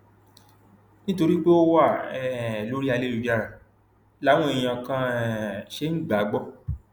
nítorí pé ó wà um lórí ayélujára làwọn èèyàn kan um ṣe ń gbà á gbọ